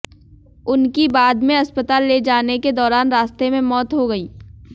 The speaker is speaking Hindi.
उनकी बाद में अस्पताल ले जाने के दौरान रास्ते में मौत हो गई